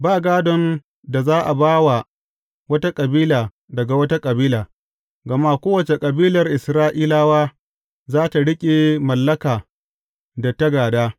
Ba gādon da za a ba wa wata kabila daga wata kabila, gama kowace kabilar Isra’ilawa za tă riƙe mallaka da ta gāda.